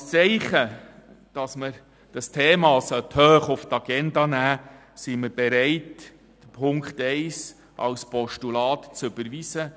Als Zeichen dafür, dass man das Thema hoch oben auf die Agenda setzen sollte, sind wir bereit, die Ziffer 1 als Postulat zu überweisen.